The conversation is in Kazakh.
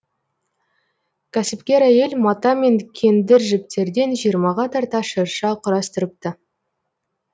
кәсіпкер әйел мата мен кендір жіптерден жиырмаға тарта шырша құрастырыпты